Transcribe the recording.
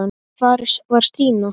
En hvar var Stína?